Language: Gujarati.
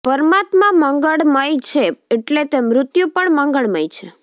પરમાત્મા મંગળમય છે એટલે તે મૃત્યુ પણ મંગળમય છે